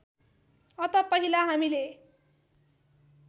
अत पहिला हामीले